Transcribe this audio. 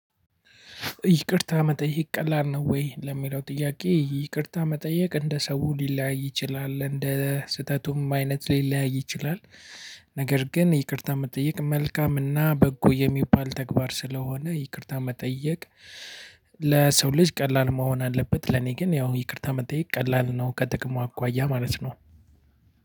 ይቅርታ መጠየቅ ቀላል ነው ወይ ለሚለው ጥያቄ ይቅርታ መጠየቅ እንደ ሰው ሊለያይ ይችላል እንደ ስህተቱም አይነት ሊለያይ ይችላል። ነገር ግን ይቅርታ መጠየቅ መልካም እና በጎ የሚባል ተግባር ስለሆነ ይቅርታ መጠየቅ። ለሰው ልጅ ቀላል መሆን አለበት ለኔ ግን ያው ይቅርታ መጠየቅ ቀላል ነው ከጥቅሙ አኳያ ማለት ነው።